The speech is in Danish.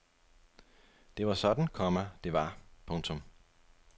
Det var sådan, komma det var. punktum